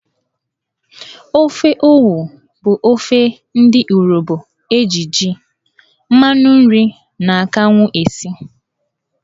Ofe Owo bụ ofe ndị Urobo eji jí, mmanụ nri na akanwụ esi.